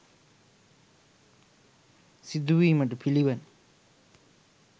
සිදුවීමට පිළිවන.